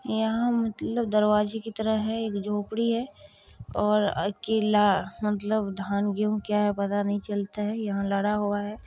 यहाँ दरवाज़ा मतलब दरवाज़े की तरह हैं एक झोपड़ी हैं और अकेला मतलब धान गेहूँ क्या है पता नहीं चलता हैं यहाँ लारा हुआ हैं।